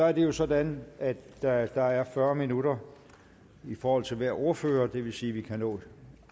er jo sådan at der er fyrre minutter i forhold til hver ordfører det vil sige at vi kan nå